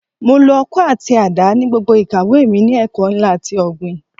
Mo lo ọkọ́ àti àdá ní gbogbo ìkàwé mi ní ẹ̀ka ẹ̀kọ́ ńlá ti ọ̀gbìn.